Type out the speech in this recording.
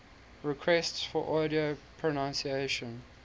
requests for audio pronunciation